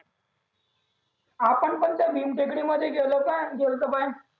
आपण पण त्या भीम टेकडीमध्ये गेलो का गेले होतो पाय